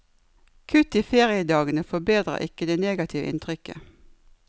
Kutt i feriedagene forbedrer ikke det negative inntrykket.